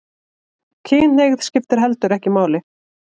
Kynhneigð skiptir heldur ekki máli